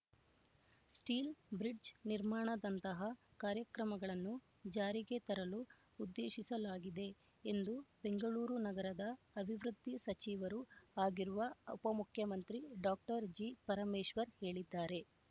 steel bridge ನಿರ್ಮಾಣದಂತಹ ಕಾರ್ಯಕ್ರಮಗಳನ್ನು ಜಾರಿಗೆ ತರಲು ಉದ್ದೇಶಿಸಲಾಗಿದೆ ಎಂದು ಬೆಂಗಳೂರು ನಗರದ ಅಭಿವೃದ್ಧಿ ಸಚಿವರೂ ಆಗಿರುವ ಉಪಮುಖ್ಯಮಂತ್ರಿ ಡಾಕ್ಟರ್ ಜಿ ಪರಮೇಶ್ವರ್ ಹೇಳಿದ್ದಾರೆ